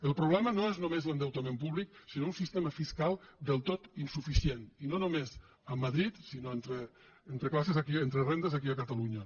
el problema no és només l’endeutament públic sinó un sistema fiscal del tot insuficient i no només a madrid sinó entre classes aquí entre rendes aquí a catalunya